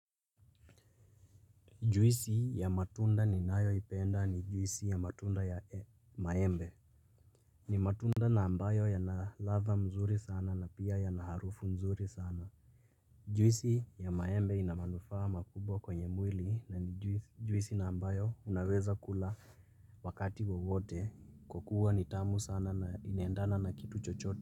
Juisi ya matunda ninayoipenda ni juisi ya matunda ya maembe. Ni matunda na ambayo yana ladha mzuri sana na pia yana harufu mzuri sana. Juisi ya maembe ina manufaa makubwa kwenye mwili na ni juisi na ambayo unaweza kula wakati wowote kwa kuwa ni tamu sana na inaendana na kitu chochote.